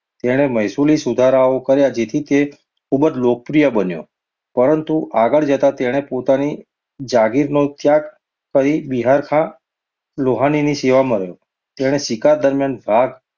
તેણે મહેસૂલી સુધારાઓ કર્યા તેથી તે ખૂબ જ લોકપ્રિય બન્યો. પરંતુ આગળ જતાં તેણે પોતાની જાગીરનો ત્યાગ કરી બિહારખા લોહાનીની સેવામાં રહ્યો. તેણે શિકાર દરમિયાન વાઘ